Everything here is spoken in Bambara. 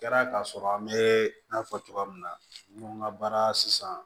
Kɛra ka sɔrɔ an bɛ n'a fɔ cogoya min na n ko n ka baara sisan